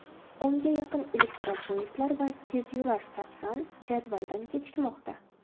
o‘nga yaqin elektropoyezdlar va tezyurar "Sapsan" jadvaldan kechikmoqda.